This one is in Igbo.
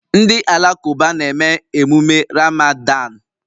Ndị Alakụba na-eme emume Ramadan